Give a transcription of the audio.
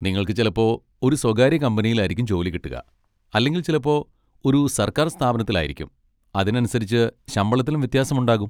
നിങ്ങൾക്ക് ചിലപ്പോൾ ഒരു സ്വകാര്യ കമ്പനിയിലായിരിക്കും ജോലി കിട്ടുക, അല്ലെങ്കിൽ ചിലപ്പോൾ ഒരു സർക്കാർ സ്ഥാപനത്തിലായിരിക്കും, അതിനനുസരിച്ച് ശമ്പളത്തിലും വ്യത്യാസമുണ്ടാകും.